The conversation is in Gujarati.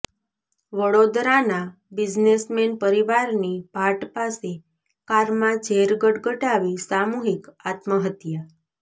વડોદરાના બિઝનેસમેન પરિવારની ભાટ પાસે કારમાં ઝેર ગટગટાવી સામૂહિક અાત્મહત્યા